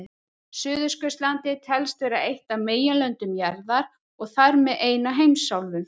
Suðurskautslandið telst vera eitt af meginlöndum jarðar og þar með ein af heimsálfunum.